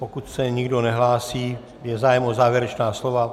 Pokud se nikdo nehlásí, je zájem o závěrečná slova?